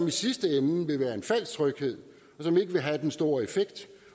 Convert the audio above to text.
i sidste ende være en falsk tryghed det vil ikke have den store effekt